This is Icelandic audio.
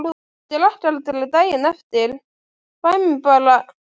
Ég drekk aldrei daginn eftir, fæ mér aldrei afréttara.